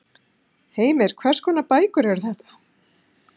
Heimir: Hvers konar bækur eru þetta?